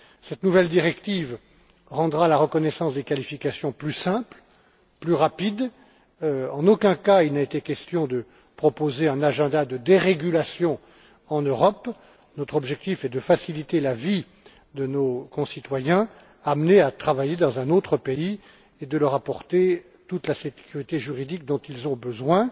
Cette nouvelle directive rendra la reconnaissance des qualifications plus simple et plus rapide. En aucun cas, il n'a été question de proposer un agenda de dérégulation en Europe. Notre objectif est de faciliter la vie de nos concitoyens amenés à travailler dans un autre pays et de leur apporter toute la sécurité juridique dont ils ont besoin.